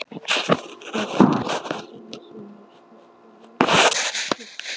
Þú ert ekki samviskulaus þótt þú látir kannski þannig.